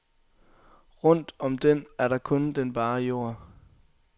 Rundt om den er der kun den bare jord.